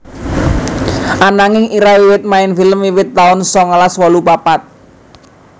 Ananging Ira wiwit main film wiwit taun songolas wolu papat